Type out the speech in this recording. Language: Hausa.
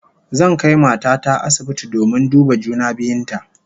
Zan kai mata ta asibiti domin duba juna biyun ta